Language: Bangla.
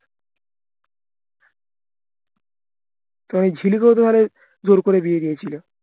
তাই জোড় করে বিয়ে দিয়েছিলো